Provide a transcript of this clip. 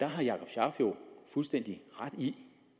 har jakob scharf jo fuldstændig ret i